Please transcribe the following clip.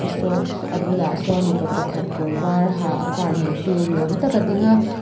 sawn a bulah sawn mipa pakhat kawr var ha a car neitu ni awm tak a ding a.